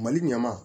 Mali ɲaman